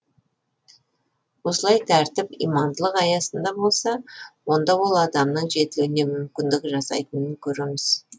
осылай тәртіп имандылық аясында болса онда ол адамның жетілуіне мүмкіндік жасайтынын көреміз